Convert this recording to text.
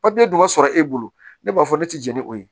Papiye dun ka sɔrɔ e bolo ne b'a fɔ ne tɛ jɛn ni o ye